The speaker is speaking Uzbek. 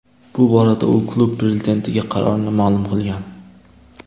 Bu borada u klub prezidentiga qarorini ma’lum qilgan.